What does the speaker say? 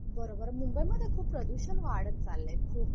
बरोबर मुंबई मध्ये प्रदूषण खूप वाढत चाललंय खूप